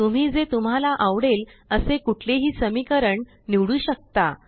तुम्ही जे तुम्हाला आवडेल असे कुठलेही समीकरण निवडू शकता